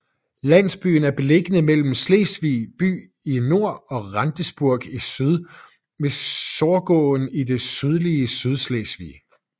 Landsbyen er beliggende mellem Slesvig by i nord og Rendsborg i syd ved Sorgåen i det sydlige Sydslesvig